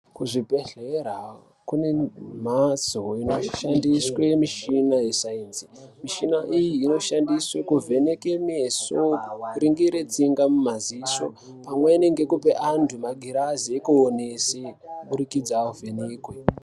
Kuzvibhedhlera kune mhatso inoshandiswe mishina yesainzi. Mishina iyi inoshandiswe kuvheneke meso, kuringire tsinga mumaziso, pamweni ngekupe antu magirazi ekuonese, kuburikidza avhenekwe.